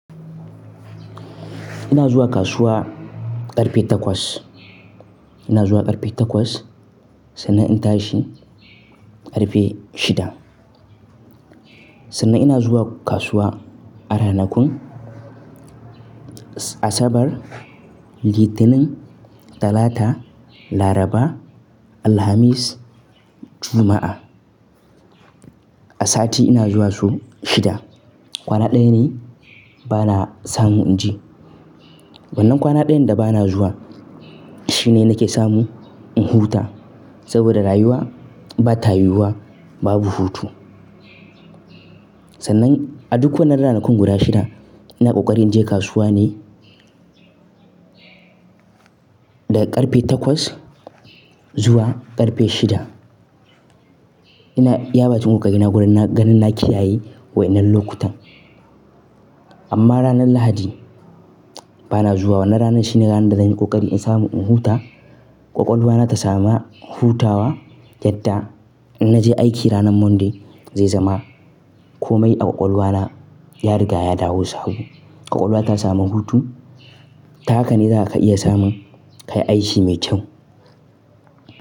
Ina zuwa kasuwa ƙarfe takwas. Ina zuwa ƙarfe takwas sannan in tashi ƙarfe shida. Sannan ina zuwa kasuwa a ranakun Asabar, Litinin, Talata, Laraba, Alhamis, Juma'a. A sati ina zuwa su shida. Kwana ɗaya ne bana samu in je. Wannan kwana ɗayan da bana zuwa shine nake samu in huta saboda rayuwa ba ta yiwuwa babu hutu. Sannan a duk wannan ranakun guda shida ina ƙoƙari in je kasuwa ne daga ƙarfe takwas zuwa ƙarfe shida. Ina iya bacin ƙoƙari na ganin na kiyaye waenan lokutan. Amma ranar Lahadi bana zuwa. Wannan ranar shine ranar da zanyi kokari in samu in huta, ƙwaƙwalwa na ta samu hutawa yadda in naje aiki ranar Monday zai zama komai a ƙwaƙwalwa na ya riga ya dawo sabo. Ƙwaƙwalwa ta samu hutu. Ta haka ne za ka iya samun kayi aiki mai kyau.